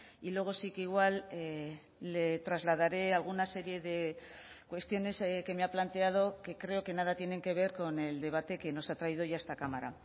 y luego sí que igual le trasladaré alguna serie de cuestiones que me ha planteado que creo que nada tienen que ver con el debate que nos ha traído hoy a esta cámara